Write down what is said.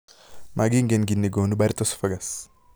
Magingen kiit negonu Barrett esophagus